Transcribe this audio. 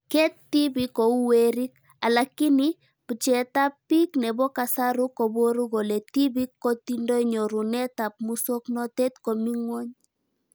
Keet tibi kou werik. Alakini bjeetab bik nebo kasaru koboru kole tibik kotindoi nyuronetab muswoknotet komi ngwony